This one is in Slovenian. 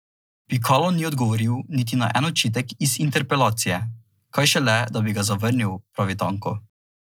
Pikalo ni odgovoril niti na en očitek iz interpelacije, kaj šele da bi ga zavrnil, pravi Tanko.